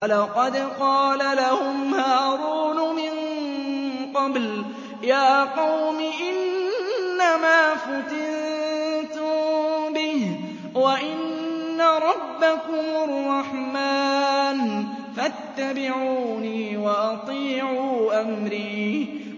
وَلَقَدْ قَالَ لَهُمْ هَارُونُ مِن قَبْلُ يَا قَوْمِ إِنَّمَا فُتِنتُم بِهِ ۖ وَإِنَّ رَبَّكُمُ الرَّحْمَٰنُ فَاتَّبِعُونِي وَأَطِيعُوا أَمْرِي